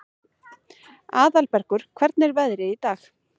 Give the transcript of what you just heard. Aðalbergur, hvernig er veðrið í dag?